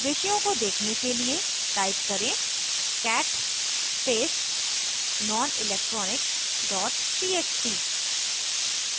विषयों को देखने के लिए type करें cat space nonelectronics txt